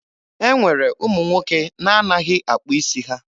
E nwere ụmụ nwoke na-anaghị akpụ isi ha.